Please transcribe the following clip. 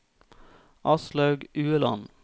Aslaug Ueland